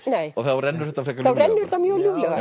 þá rennur þetta frekar ljúflega þá rennur þetta mjög ljúflega